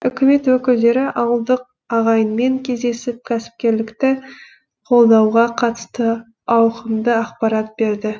үкімет өкілдері ауылдық ағайынмен кездесіп кәсіпкерлікті қолдауға қатысты ауқымды ақпарат берді